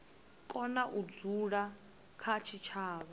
kona u dzula kha tshitshavha